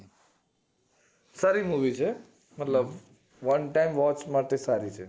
સારી movie છે મતલબ one time watch માટે સારી છે